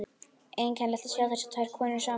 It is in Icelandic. Einkennilegt að sjá þessar tvær konur saman.